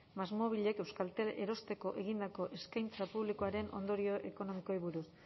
másmóvilek euskaltel erosteko egindako eskaintza publikoaren ondorio ekonomikoei buruz